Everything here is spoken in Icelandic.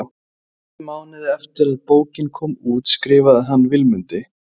Réttum mánuði eftir að bókin kom út skrifar hann Vilmundi